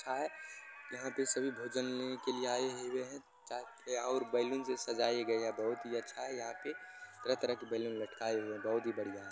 खाये यहाँ पे सभी भोजन लेने केलिए आये हुए है और बैलून सजाया गया है। बहुत ही अच्छा है यहां पे तरह -तरह के बैलून लटकाये हुये है यहां पे बहुत ही बढ़िया है |